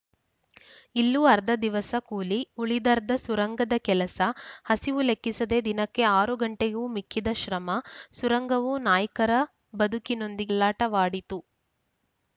ಇಲ್ಲೂ ಅರ್ಧ ದಿವಸ ಕೂಲಿ ಉಳಿದರ್ಧ ಸುರಂಗದ ಕೆಲಸ ಹಸಿವು ಲೆಕ್ಕಿಸದೆ ದಿನಕ್ಕೆ ಆರು ಗಂಟೆಗೂ ಮಿಕ್ಕಿದ ಶ್ರಮ ಸುರಂಗವು ನಾಯ್ಕರ ಬದುಕಿನೊಂದಿಗೆ ಚೆಲ್ಲಾಟವಾಡಿತು